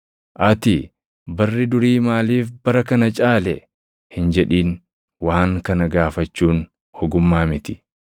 Ati, “Barri durii maaliif bara kana caale?” hin jedhin; waan kana gaafachuun ogummaa miti.